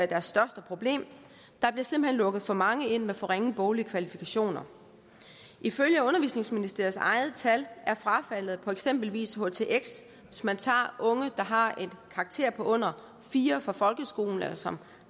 deres største problem der bliver simpelt hen lukket for mange ind med for ringe boglige kvalifikationer ifølge undervisningsministeriets eget tal er frafaldet på eksempelvis htx hvis man tager unge der har en karakter på under fire fra folkeskolen eller som